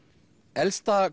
elsta